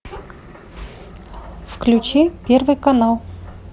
включи первый канал